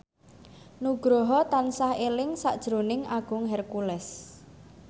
Nugroho tansah eling sakjroning Agung Hercules